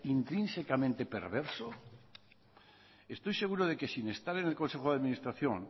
intrínsecamente perverso estoy seguro de que sin estar en el consejo de administración